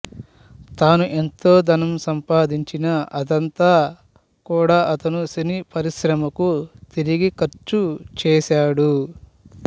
తాను ఎంతో ధనం సంపాదించినా అదంతా కూడా అతను సినీపరిశ్రమకు తిరిగి ఖర్చుచేశాడు